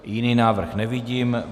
Jiný návrh nevidím.